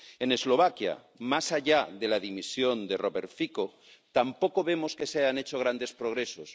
En Eslovaquia, más allá de la dimisión de Robert Fico, tampoco vemos que se hayan hecho grandes progresos.